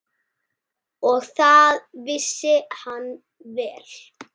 Og það vissi hann vel.